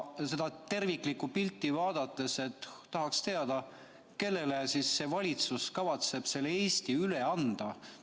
Seda terviklikku pilti vaadates tahaks teada, kellele see valitsus kavatseb selle Eesti üle anda.